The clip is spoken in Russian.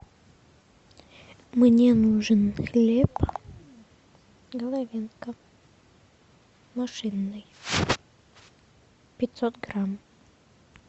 мне нужен хлеб головенко машинный пятьсот грамм